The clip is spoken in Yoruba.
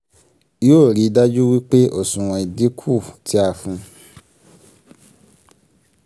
yóò rí dájú wí pé òṣùwọ̀n ìdínkù tí a fún.